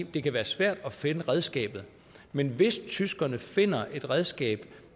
det kan være svært at finde redskabet men hvis tyskerne finder et redskab